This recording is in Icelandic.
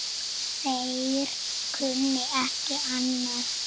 Þeir kunni ekki annað.